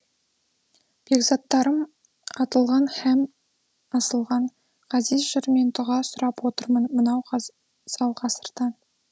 бекзаттарым атылған һәм асылған ғазиз жырмен дұға сұрап отырмын мынау ғазал ғасырдан